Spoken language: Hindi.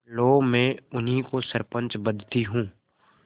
लो मैं उन्हीं को सरपंच बदती हूँ